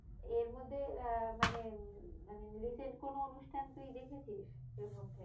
এরমধ্যে আহ মানে মানে recent কোনো অনুষ্ঠান তুই দেখেছিস? এর মধ্যে?